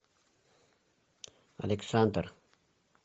александр